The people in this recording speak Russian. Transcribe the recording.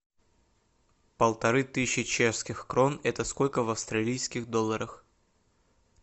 полторы тысячи чешских крон это сколько в австралийских долларах